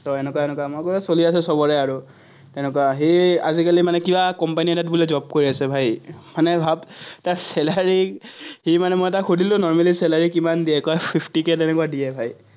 এনেকুৱা এনেকুৱা, মই কলো, চলি আছে চবৰে আৰু। তেনেকুৱা সি আজিকালি মানে কিবা কোম্পানী এটাত বোলে job কৰি আছে, ভাই। মানে ভাৱ, তাৰ salary সি মানে মই তাক সুধিলো, normally salary কিমান দিয়ে কোৱাচোন, fifty k তেনেকুৱা দিয়ে, ভাই।